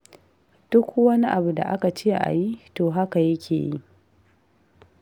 Duk wani abu da aka ce a yi, to haka yake yi.